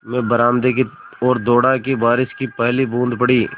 मैं बरामदे की ओर दौड़ा कि बारिश की पहली बूँद पड़ी